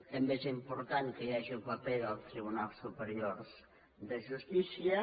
també és important que hi hagi el paper del tribunal superior de justícia